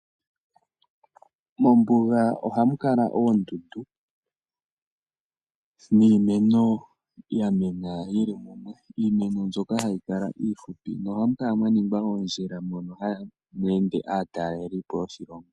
Mombuga ohamu kala oondundu niimeno ya mena yili mumwe. Iimeno mbyoka hayi kala iifupi, no hamu kala mwa ningwa oondjila moka hamu ende aatalelipo yoshilongo.